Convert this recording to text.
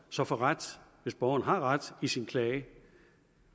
så får ret hvis borgeren har ret i sin klage